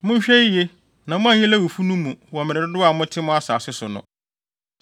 Monhwɛ yiye na moanyi Lewifo no mu wɔ mmere dodow a mote mo asase so no.